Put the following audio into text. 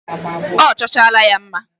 Ọ chọchaala ya mma.